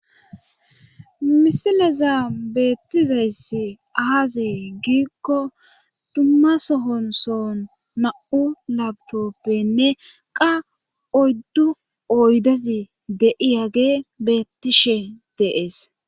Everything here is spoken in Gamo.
misileza beettizayssi aaze giikko dumma sohon sohon na7u laptoppenne qa oyddu oydezi de7iyage beettishe de7ees.